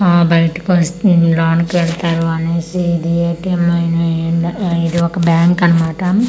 ఆ బయటికి వాస్ లోనికి ఏళతారు అనేసి ఇది ఏ.టి.ఏం. అయివున్ ఆ ఇది ఒక బ్యాంక్ అన్నమాట.